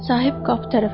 Sahib qapı tərəfə yönəldi.